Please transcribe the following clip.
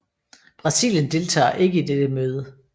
Brasilien deltager ikke i det møde